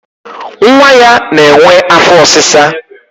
nwa ya na-enwe afọ ọsịsa.